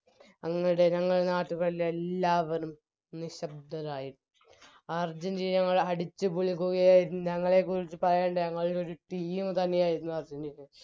അന്ന് ജനങ്ങളും നാട്ടുകാരും എല്ലാവരും നിശ്ശബ്ദരായിരുന്നു അർജന്റീന അടിച് Goal കൾ ഞങ്ങളെയൊരു Team തന്നെയായിരുന്നു അർജന്റീന